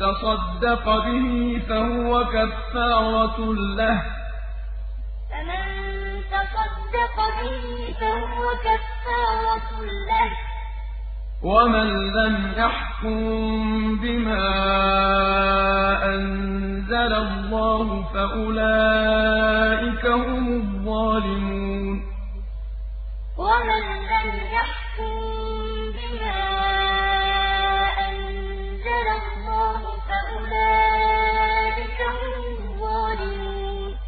تَصَدَّقَ بِهِ فَهُوَ كَفَّارَةٌ لَّهُ ۚ وَمَن لَّمْ يَحْكُم بِمَا أَنزَلَ اللَّهُ فَأُولَٰئِكَ هُمُ الظَّالِمُونَ وَكَتَبْنَا عَلَيْهِمْ فِيهَا أَنَّ النَّفْسَ بِالنَّفْسِ وَالْعَيْنَ بِالْعَيْنِ وَالْأَنفَ بِالْأَنفِ وَالْأُذُنَ بِالْأُذُنِ وَالسِّنَّ بِالسِّنِّ وَالْجُرُوحَ قِصَاصٌ ۚ فَمَن تَصَدَّقَ بِهِ فَهُوَ كَفَّارَةٌ لَّهُ ۚ وَمَن لَّمْ يَحْكُم بِمَا أَنزَلَ اللَّهُ فَأُولَٰئِكَ هُمُ الظَّالِمُونَ